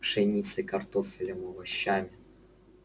пшеницей картофелем овощами